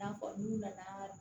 N'a fɔ n'u nana